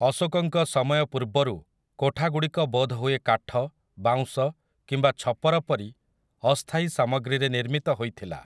ଅଶୋକଙ୍କ ସମୟ ପୂର୍ବରୁ, କୋଠାଗୁଡ଼ିକ ବୋଧହୁଏ କାଠ, ବାଉଁଶ କିମ୍ବା ଛପର ପରି ଅସ୍ଥାୟୀ ସାମଗ୍ରୀରେ ନିର୍ମିତ ହୋଇଥିଲା ।